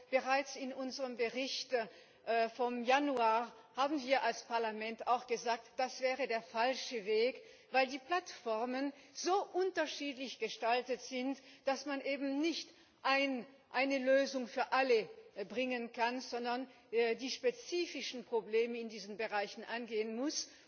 Bereits in unserem Bericht vom Januar haben wir als Parlament gesagt, das wäre der falsche Weg, weil die Plattformen so unterschiedlich gestaltet sind, dass man eben nicht eine Lösung für alle bringen kann, sondern die spezifischen Probleme in diesen Bereichen angehen muss,